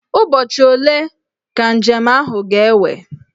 Ụbọchị ole ka njem ahụ ga-ewe?